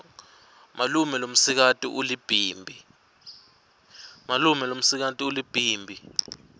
malume lomsikati ulibhimbi